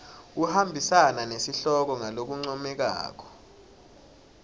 kuhambisana nesihloko ngalokuncomekako